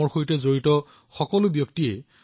আমাৰ জীৱন এনে বহুতো দক্ষ লোকৰ দ্বাৰা পৰিচালিত হয়